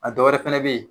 A dɔwɛrɛ fɛnɛ be yen